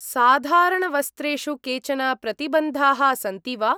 साधारणवस्त्रेषु केचन प्रतिबन्धाः सन्ति वा ?